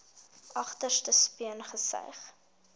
agterste speen gesuig